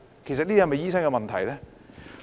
這是否醫生的問題呢？